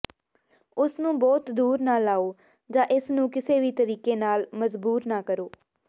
ਇਸਨੂੰ ਬਹੁਤ ਦੂਰ ਨਾ ਲਾਓ ਜਾਂ ਇਸ ਨੂੰ ਕਿਸੇ ਵੀ ਤਰੀਕੇ ਨਾਲ ਮਜਬੂਰ ਨਾ ਕਰੋ